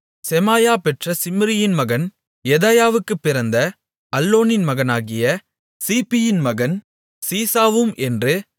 செமாயா பெற்ற சிம்ரியின் மகன் யெதாயாவுக்குப் பிறந்த அல்லோனின் மகனாகிய சீப்பியின் மகன் சீசாவும் என்று